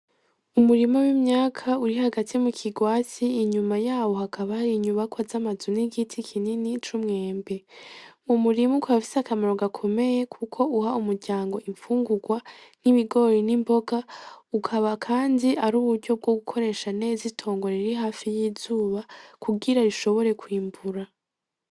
Umurima w'imyaka, uri hagati mu kigwati inyuma yaho hakaba hari inyubakwa z'amazu, n'igiti kinini c'umwembe, umurima ukaba ufise akamaro gakomeye kuko uha umuryango imfungurwa nk'ibigori, n'imboga, ukaba kandi ari uburyo bwo gukoresha neza itongo riri hafi y'izuba kugira rishobore kwimbura.